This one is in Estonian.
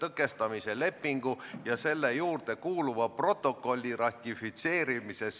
Muudatusettepaneku poolt on 50 Riigikogu liiget, vastu 30 ja ei osalenud 15.